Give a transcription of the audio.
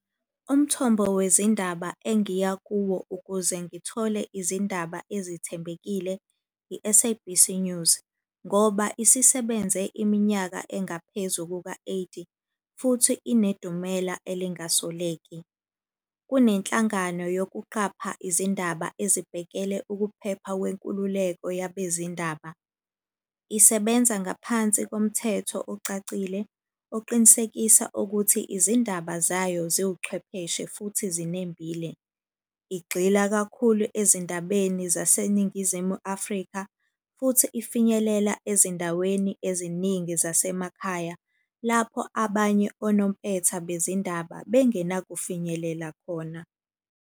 Umthombo wezindaba engiya kuwo ukuze ngithole izindaba ezithembekile i-S_A_B_C News, ngoba isisebenze iminyaka engaphezu kuka-eighty, futhi inedumela elingasoleki. Kunenhlangano yokuqapha izindaba ezibhekele ukuphepha kwenkululeko yabezindaba. Isebenza ngaphansi komthetho ocacile, oqinisekisa ukuthi izindaba zayo ziwuchwepheshe futhi zinembile. Igxila kakhulu ezindabeni zaseNingizimu Afrika, futhi ifinyelela ezindaweni eziningi zasemakhaya. Lapho abanye onompetha bezindaba bengenakufinyelela khona.